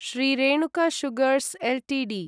Shri Renuka sugars Ltd